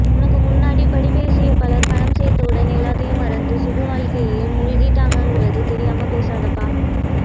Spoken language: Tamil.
உனக்குமுன்னாடிப்படிப்பேசியபலர் பணம் சேர்ந்தவுடன் எல்லாத்தையும் மறந்து சுகவாழ்கையிலே மூழ்கிட்டாங்கங்கிறது தெரியாம பேசாதே அப்பா